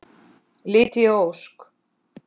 Lydia Ósk.